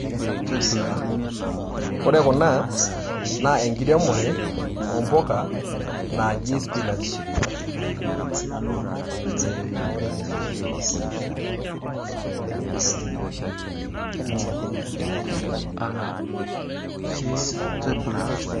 Ore kuna naa enkiremore naji spinach.